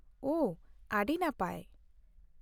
-ᱳᱦ, ᱟᱹᱰᱤ ᱱᱟᱯᱟᱭ ᱾